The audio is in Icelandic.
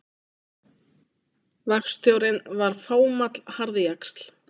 Verkstjórinn var fámáll harðjaxl.